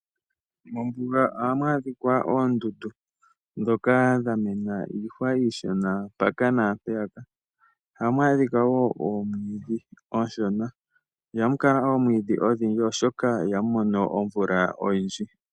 Mombuga ohamu adhikwa oondundu nhoka dha mena iihwa iishona mpaka naampeyaka. Ohamu adhikwa wo oomwidhi oonshona, ihamu kala oomwiidhi odhindji oshoka ihamu mono omvula oyindji.